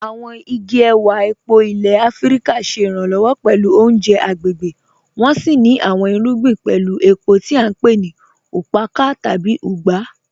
Àwọn igi èwà èpó ilẹ̀ Àfíríkà ṣé iranlọwọ pẹ̀lú ọ̀unjẹ̀ agbegbé, wọ́n sì ní àwọn irùgbìn pẹ̀lú èpó tí à npe ni "ùkpàkà" tàbí "ùgbà".